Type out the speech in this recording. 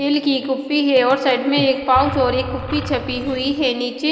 तेल की कुप्पी है और साइड में एक पाउच और एक कुप्पी छपी हुई है नीचे--